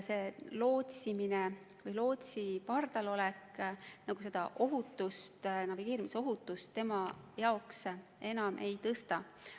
Lootsi pardal olek navigeerimisohutust tema jaoks enam ei tõsta.